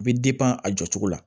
I bɛ a jɔcogo la